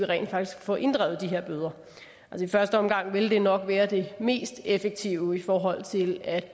rent faktisk får inddrevet de her bøder i første omgang vil det nok være det mest effektive i forhold til at